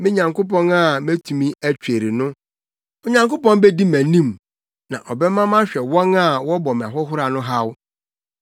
me Nyankopɔn a metumi atweri no. Onyankopɔn bedi mʼanim na ɔbɛma mahwɛ wɔn a wɔbɔ me ahohora no haw.